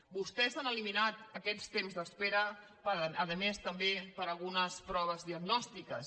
vostès han eliminat aquests temps d’espera a més també per a algunes proves diagnòstiques